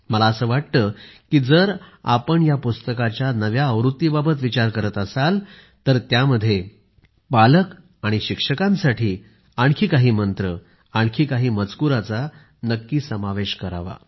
मला असे वाटते की जर आपण या पुस्तकाच्या नव्या आवृत्तीबाबत विचार करत असाल तर त्यात पालक आणि शिक्षकांसाठी आणखी काही मंत्र आणखी काही मजकूराचा नक्कीच समावेश करावा